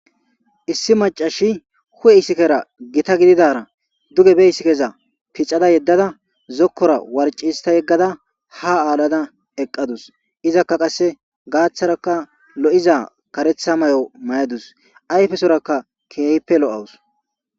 Issi macashi hu77e isikera gita giddidara duge be isikeza pixada yeddada zokkora warci hista yegada ha alada eqadus. izaka qase gaththaraka lo7iza qareththa mayo mayadus. ayfesoraka keehippe lo7awus.